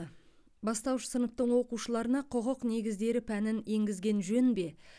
бастауыш сыныптың оқушыларына құқық негіздері пәнін енгізген жөн бе